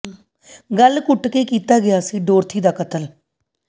ਗਲ ਘੁੱਟ ਕੇ ਕੀਤਾ ਗਿਆ ਸੀ ਡੋਰਥੀ ਦਾ ਕਤਲ